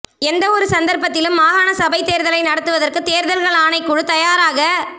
எந்தவொரு சந்தர்ப்பத்திலும் மாகாண சபைத் தேர்தலை நடத்துவதற்கு தேர்தல்கள் ஆணைக்குழு தயாராக